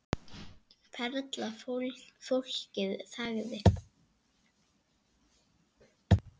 Perla Fólkið þagði.